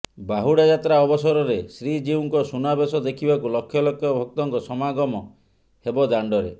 ବାହୁଡା ଯାତ୍ରା ଅବସରରେ ଶ୍ରୀଜିଉଙ୍କ ସୁନାବେଶ ଦେଖିବାକୁ ଲକ୍ଷ ଲକ୍ଷ ଭକ୍ତଙ୍କ ସମାଗମ ହେବ ଦାଣ୍ଡରେ